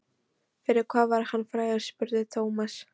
Fyrir hvað var hann frægur? spurði Thomas.